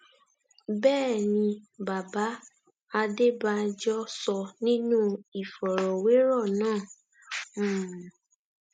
bẹẹ ni bàbá adébànjọ sọ nínú ìfọrọwérọ náà um